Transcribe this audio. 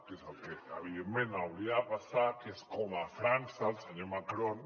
que és el que evidentment hauria de passar que és com a frança el senyor macron